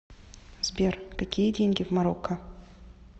сбер какие деньги в марокко